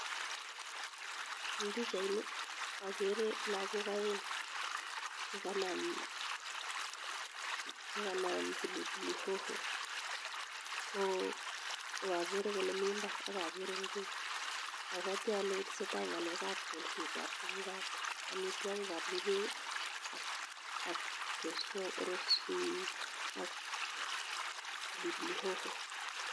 En pichaini akere lakok aeng chekanam pilipili hoho akakere kole mi mbar akakere ngwek apwati ale tesetai ngalek ap kolsek ap tukuk ap amitwokik ap ngwek ak pilipili hoho.